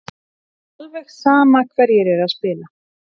Alveg sama hverjir eru að spila.